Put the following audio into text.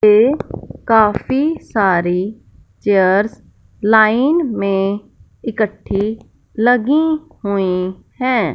ये काफी सारी चेयर्स लाइन में इकट्ठी लगी हुई है।